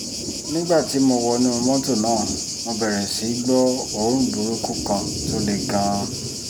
nígbà tí mo wọnú mọ́tò náà mo bẹ̀rẹ̀ sí í gbọ́ òórùn burúkú kan tó le gan-an